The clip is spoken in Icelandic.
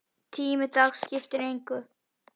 Tími dags skipti engu.